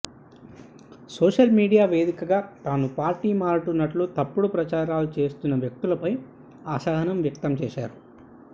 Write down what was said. social media వేదికగా తాను party మారుతున్నట్లు తప్పుడు ప్రచారాలు చేస్తున్న వ్యక్తులపై అసహనం వ్యక్తం చేశారు